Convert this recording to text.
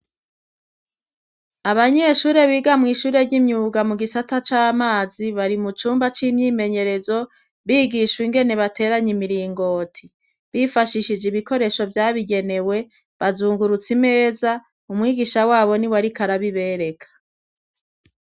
Abanyeshure biga mw'ishure ry'imyuga mu gisata c'amazi bari mu cumba c'imyimenyerezo bigishwa ingene bateranye imiringoti bifashishije ibikoresho vyabigenewe bazungurutse imeza umwigisha wabo ni wariko arabibereka.